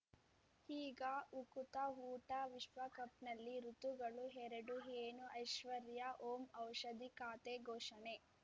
ಈಗ ಉಕುತ ಊಟ ವಿಶ್ವಕಪ್‌ನಲ್ಲಿ ಋತುಗಳು ಎರಡು ಏನು ಐಶ್ವರ್ಯಾ ಓಂ ಔಷಧಿ ಖಾತೆ ಘೋಷಣೆ